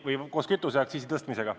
Hanno Pevkur, palun!